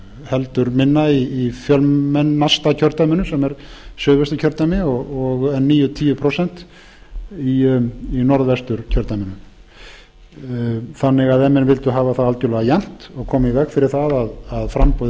heldur minna í fjölmennasta kjördæminu sem er suðvesturkjördæmi en níu til tíu prósent í norðvesturkjördæmi ef menn vildu hafa það algerlega jafnt og koma í veg fyrir að framboð í